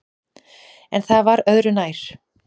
En það var öðru nær!